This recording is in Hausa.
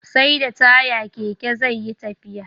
SAi da taya Keke zeyi tafiya